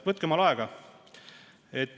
Võtke endale aega.